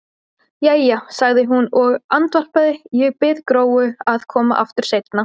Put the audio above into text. Jæja, sagði hún og andvarpaði, ég bið Gróu að koma aftur seinna.